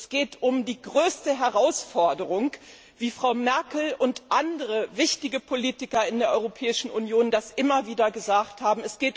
Es geht um die größte Herausforderung, wie Frau Merkel und andere führende Politiker in der Europäischen Union das immer wieder gesagt haben.